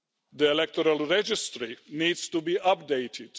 The electoral register needs to be updated.